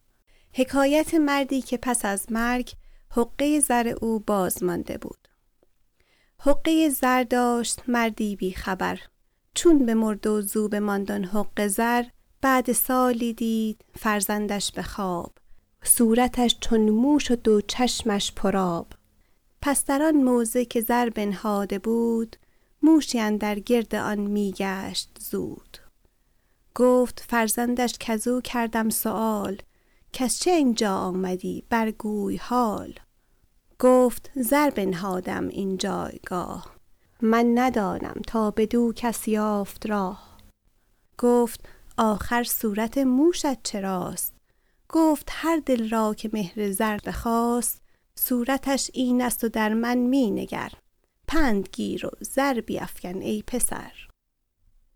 حقه ای زر داشت مردی بی خبر چون بمرد و زو بماند آن حقه زر بعد سالی دید فرزندش به خواب صورتش چون موش و دو چشمش پر آب پس در آن موضع که زر بنهاده بود موشی اندر گرد آن می گشت زود گفت فرزندش کزو کردم سؤال کز چه این جا آمدی بر گوی حال گفت زر بنهاده ام این جایگاه من ندانم تا بدو کس یافت راه گفت آخر صورت موشت چراست گفت هر دل را که مهر زر بخاست صورتش این ست و در من می نگر پند گیر و زر بیفکن ای پسر